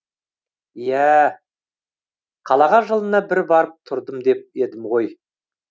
иәә қалаға жылына бір барып тұрдым деп едім ғой